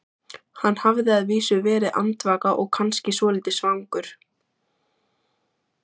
Hann hafði að vísu verið andvaka og kannski svolítið svangur.